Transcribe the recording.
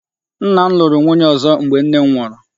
Nna m lụrụ nwunye ọzọ mgbe nne m nwụrụ.